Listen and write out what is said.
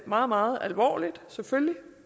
meget meget alvorligt selvfølgelig